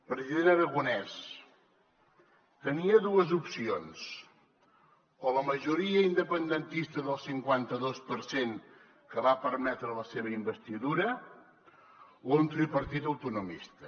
president aragonès tenia dues opcions o la majoria independentista del cinquanta dos per cent que va permetre la seva investidura o un tripartit autonomista